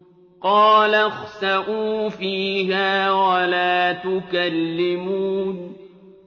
قَالَ اخْسَئُوا فِيهَا وَلَا تُكَلِّمُونِ